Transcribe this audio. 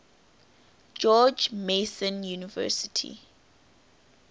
george mason university